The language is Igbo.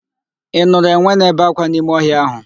Ị nụrụ enwe na-ebe ákwá n'ime ọhịa ahụ?